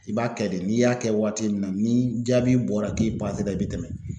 I b'a kɛ de n'i y'a kɛ waati min na ni jaabi bɔra k'i pasera i bi tɛmɛ